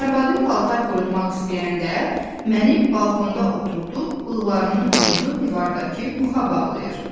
Arvadım paltar qurutmaq istəyəndə məni balkonda oturdub, bığlarımın ucunu divardakı muxa bağlayır.